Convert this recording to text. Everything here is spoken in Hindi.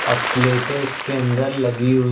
अह प्लेटें इसके अंदर लगी हुई--